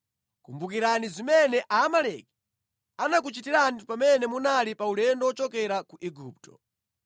Kumbukirani zimene Aamaleki anakuchitirani pamene munali pa ulendo wochokera ku Igupto.